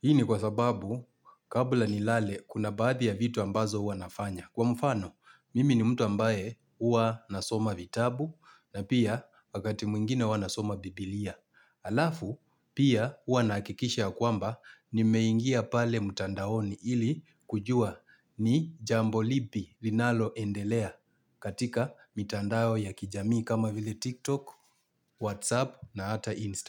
Hii ni kwa sababu kabla nilale kuna baadhi ya vitu ambazo huwa nafanya. Kwa mfano, mimi ni mtu ambaye huwa nasoma vitabu na pia wakati mwingine huwa nasoma biblia. Alafu, pia huwa nahakikisha ya kwamba nimeingia pale mtandaoni ili kujua ni jambo lipi linalo endelea katika mitandao ya kijamii kama vile TikTok, WhatsApp na ata Instagram.